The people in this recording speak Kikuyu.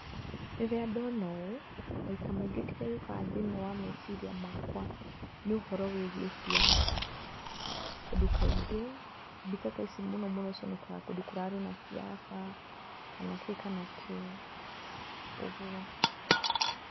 Rĩrĩa ndona ũũ, maita maingĩ kĩrĩa gĩũkaga thĩinĩ wa meciria makwa, nĩ ũhoro wĩgiĩ siasa .Tondũ kaingĩ ,mbica ta ici mũno mũno cionekaga kũndũ kũrarĩ na siasa, kana kĩ kana kĩ, ũguo.